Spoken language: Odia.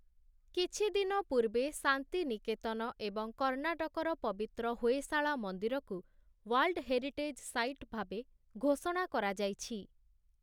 କିଛିଦିନ ପୂର୍ବେ ଶାନ୍ତି ନିକେତନ ଏବଂ କର୍ଣ୍ଣାଟକର ପବିତ୍ର ହୋଏଶାଳା ମନ୍ଦିରକୁ ୱାର୍ଲଡ଼ ହେରିଟେଜ୍ ସାଇଟ୍ ଭାବେ ଘୋଷଣା କରାଯାଇଛି ।